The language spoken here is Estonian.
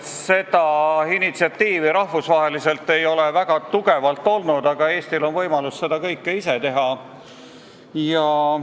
See initsiatiiv ei ole rahvusvaheliselt väga tugev olnud, aga Eestil on võimalus seda kõike ise teha.